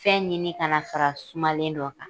Fɛn ɲini kana fara sumalen don kan.